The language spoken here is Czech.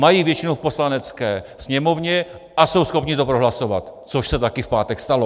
Mají většinu v Poslanecké sněmovně a jsou schopni to prohlasovat, což se také v pátek stalo.